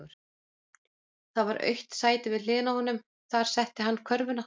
Það var autt sæti við hliðina á honum, þar setti hann körfuna.